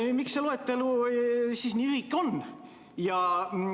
Miks see loetelu nii lühike on?